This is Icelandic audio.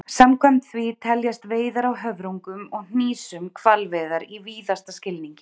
Samkvæmt því teljast veiðar á höfrungum og hnísum hvalveiðar í víðasta skilningi.